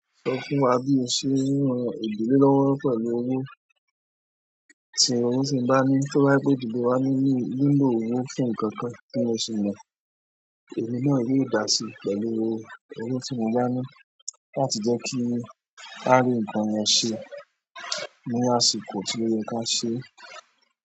Sọ fún wa bí o ṣe ń ran ìdílé lọ́wọ́ pẹ̀lú owó, tí owó ṣe ń báni tí wọ́n bá gbé dìde wá ní lílò owó fún ǹkan kan tí mo ṣi mọ̀, èmi náà yóò dà si pẹ̀lú owó, owó tí mo bá ní láti jẹ́ kí a rí ǹkan yen ṣe, ní àsìkò tíò yẹ ká ṣe.